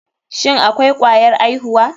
Shin akwai kwayar aihuwa.